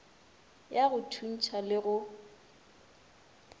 ya go thuntšha le go